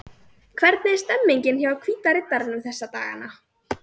Hvernig er stemningin hjá Hvíta Riddaranum þessa dagana?